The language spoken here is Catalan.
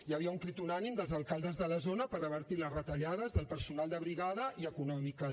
hi havia un crit unànime dels alcaldes de la zona per revertir les retallades del personal de brigada i econòmiques